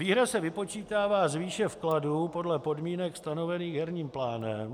Výhra se vypočítává z výše vkladů podle podmínek stanovených herním plánem.